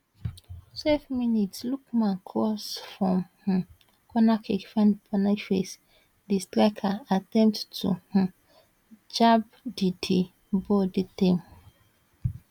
twelve minutes lookman cross from um cornerkick find boniface di striker attempt to um jab di di ball dey tame